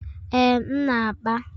Ee, m na-akpa.